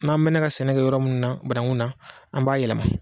N'an mɛn ka sɛnɛ kɛ yɔrɔ mun na banaku na an b'a yɛlɛma.